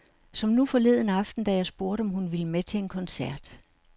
Som nu forleden aften, da jeg spurgte, om hun ville med til en koncert.